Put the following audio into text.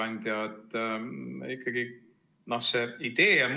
Lugupeetud ettekandja!